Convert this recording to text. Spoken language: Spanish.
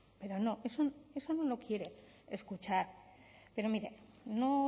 pero no eso no lo quiere escuchar pero mire no